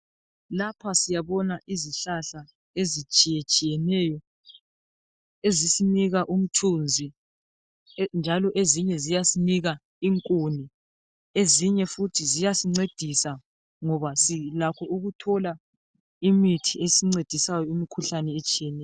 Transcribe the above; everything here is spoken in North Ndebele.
Lapha syabona izihlala ezitshiyetshiyeneyo ezisinika umthunzi njalo ezinye ziyasinika inkuni ezinye futhi ziyasincedisa ngoba silakho ukuthola imithi esincedisayo kumikhuhlane etshiyeneyo